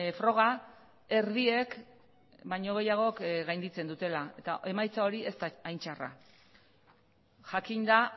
froga erdiek baino gehiagok gainditzen dutela eta emaitza hori ez da hain txarra jakinda